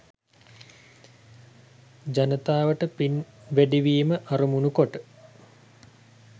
ජනතාවට පින් වැඩිවීම අරමුණු කොට